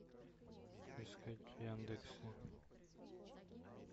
искать в яндексе